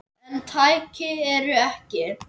En tæki eru tæki.